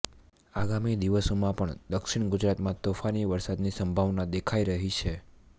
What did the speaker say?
આગામી દિવસોમાં પણ દક્ષિણ ગુજરાતમાં તોફાની વરસાદની સંભાવના દેખાઈ રહી છે